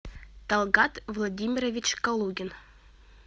талгат владимирович калугин